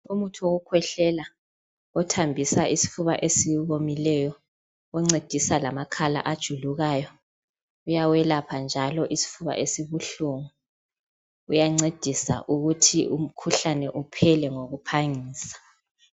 Umuthi wokukhwehlela othambisa isifuba esiwomileyo oncedisa lamakhala ajulukayo uyawelapha ngalo isifuba esibuhlungu uyancedisa ukuthi umkhuhlane uphele ngokuphangisa.